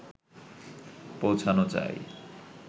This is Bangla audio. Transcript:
পৌছানো চাই